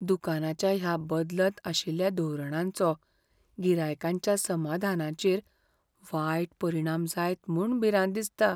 दुकानाच्या ह्या बदलत आशिल्ल्या धोरणांचो गिरायकांच्या समाधानाचेर वायट परिणाम जायत म्हूण भिरांत दिसता.